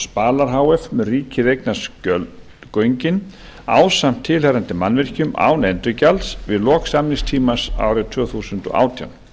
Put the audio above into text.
spalar h f mun ríkið eignast göngin ásamt tilheyrandi mannvirkjum án endurgjalds við lok samningstíma árið tvö þúsund og átján